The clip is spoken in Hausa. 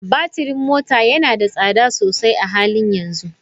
Batirin mota yana da tsada sosai a halin yanzu.